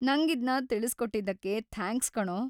ನಂಗಿದ್ನ ತಿಳ್ಸ್ಕೊಟ್ಟಿದ್ದಕ್ಕೆ ಥ್ಯಾಂಕ್ಸ್ ಕಣೋ.